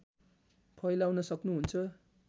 फैलाउन सक्नुहुन्छ